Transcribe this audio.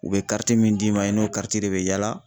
U bɛ min d'i ma i n'o de bɛ yala